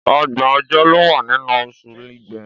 Ọgbọ̀n ọjọ́ ló wà nínú oṣù Igbe.